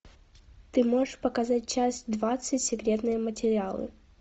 ты можешь показать часть двадцать секретные материалы